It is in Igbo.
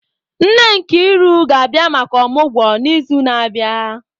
Nne Nkiru ga-abia maka omugwo n'izu na-abịa.